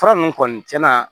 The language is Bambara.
Fura ninnu kɔni tiɲɛna